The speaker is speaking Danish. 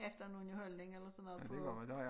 Efter noget holdning eller sådan noget på